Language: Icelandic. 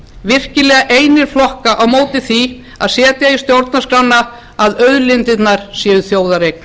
virkilega einir flokka á móti því að setja í stjórnarskrána að auðlindirnar séu þjóðareign